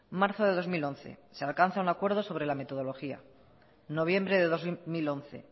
marzo de dos mil once se alcanza un acuerdo sobre la metodología noviembre de dos mil once